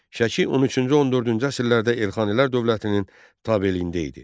Şəki 13-cü-14-cü əsrlərdə Elxanilər dövlətinin tabeliyində idi.